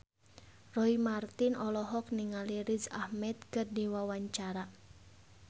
Roy Marten olohok ningali Riz Ahmed keur diwawancara